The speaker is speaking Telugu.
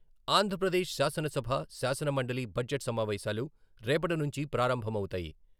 ఆంధ్రప్రదేశ్ శాసనసభ, శాసన మండలి బడ్జెట్ సమావేశాలు రేపటినుంచి ప్రారంభమవుతాయి.